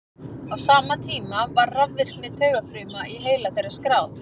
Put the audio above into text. á sama tíma var rafvirkni taugafruma í heila þeirra skráð